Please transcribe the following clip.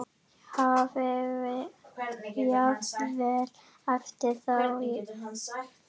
Hafi jafnvel æpt á þá.